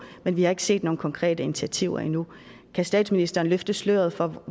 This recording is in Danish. men vi har ikke set nogen konkrete initiativer endnu kan statsministeren løfte sløret for